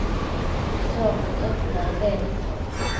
Svårt att öppna en del luckor.